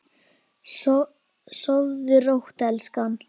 Sofðu rótt elskan.